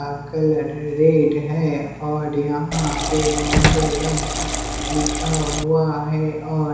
का colour red है और यहाँ पे मंगलम लिखा हुआ है और--